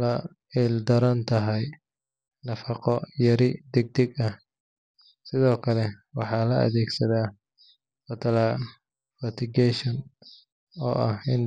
la ildaran tahay nafaqo yari degdeg ah. Sidoo kale waxaa la adeegsadaa fertigation, oo ah in.